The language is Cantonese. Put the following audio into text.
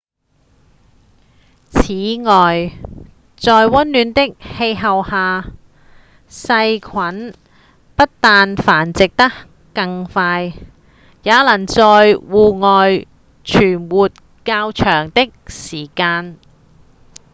此外在溫暖的氣候下細菌不但繁殖得更快也能在體外存活較長的時間